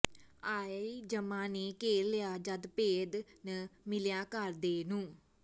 ਆਇ ਜਮਾਂ ਨੇ ਘੇਰ ਲਿਆ ਜਦ ਭੇਦ ਨ ਮਿਲਿਆ ਘਰ ਦੇ ਨੂੰ